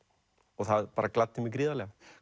og það bara gladdi mig gríðarlega